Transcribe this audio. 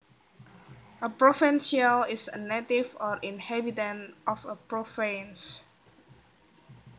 A provincial is a native or inhabitant of a province